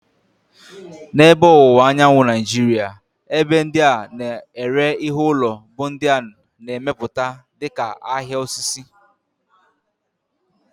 N'ebe Ọwụwa Anyanwụ Nigeria, ebe ndị a na-ere ihe ụlọ bụ ndị a na-emepụta dịka "ahịa osisi."